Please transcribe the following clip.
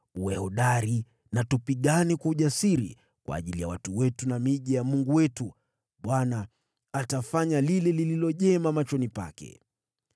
Uwe hodari na tupigane kwa ujasiri kwa ajili ya watu wetu na miji ya Mungu wetu. Bwana atafanya lile lililo jema machoni pake.”